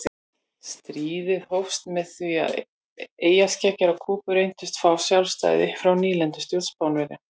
Stríðið hófst við það að eyjarskeggjar á Kúbu reyndu að fá sjálfstæði frá nýlendustjórn Spánverja.